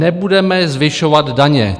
"Nebudeme zvyšovat daně.